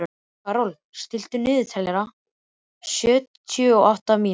Karol, stilltu niðurteljara á sjötíu og átta mínútur.